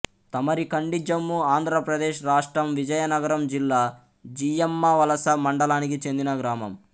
తమరికండిజమ్ము ఆంధ్ర ప్రదేశ్ రాష్ట్రం విజయనగరం జిల్లా జియ్యమ్మవలస మండలానికి చెందిన గ్రామం